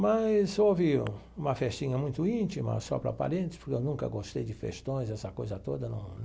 Mas houve uma festinha muito íntima, só para parentes, porque eu nunca gostei de festões, essa coisa toda num.